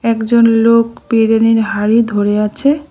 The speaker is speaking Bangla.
একজন লোক বিরিয়ানির হাড়ি ধরে আছে।